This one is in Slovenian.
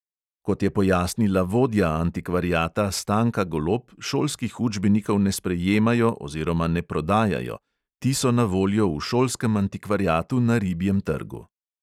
Kot je pojasnila vodja antikvariata stanka golob, šolskih učbenikov ne sprejemajo oziroma ne prodajajo; ti so na voljo v šolskem antikvariatu na ribjem trgu.